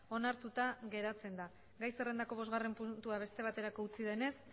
onartuta geratzen da gai zerrendako bostgarrena puntua beste baterako utzi denez